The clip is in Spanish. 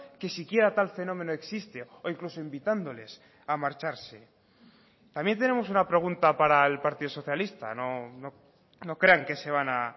que siquiera tal fenómeno existe o incluso invitándoles a marcharse también tenemos una pregunta para el partido socialista no crean que se van a